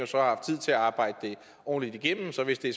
så har haft tid til at arbejde det ordentligt igennem så hvis det